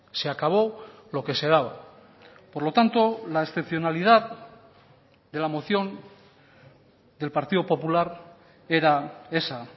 se acabó lo que se daba por lo tanto la excepcionalidad de la moción del partido popular era esa